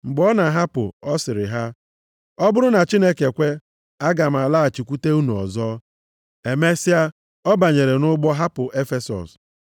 Mgbe ọ na-ahapụ, ọ sịrị ha, “Ọ bụrụ na Chineke kwe, aga m alọghachikwute unu ọzọ.” Emesịa ọ banyere nʼụgbọ hapụ Efesọs.